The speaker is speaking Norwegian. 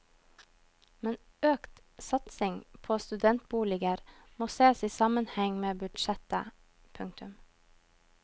Men økt satsing på studentboliger må sees i sammenheng med budsjettet. punktum